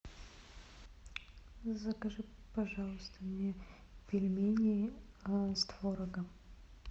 закажи пожалуйста мне пельмени с творогом